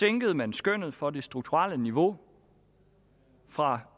ændrede man skønnet for det strukturelle niveau fra